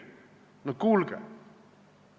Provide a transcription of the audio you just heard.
No kuulge!